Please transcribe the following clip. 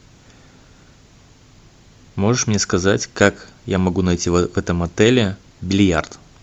можешь мне сказать как я могу найти в этом отеле бильярд